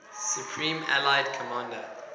supreme allied commander